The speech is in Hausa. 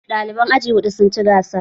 Ɗaliban aji huɗu sun ci gasar